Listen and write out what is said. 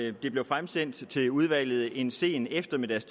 at de blev fremsendt til udvalget en sen eftermiddags